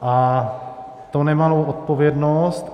A to nemalou odpovědnost.